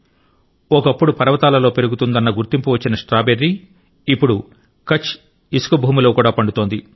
ఒకప్పుడు పర్వతాలలో పెరుగుతుందన్న గుర్తింపు వచ్చిన స్ట్రాబెర్రీ ఇప్పుడు కచ్ ఇసుక భూమిలో కూడా పండుతోంది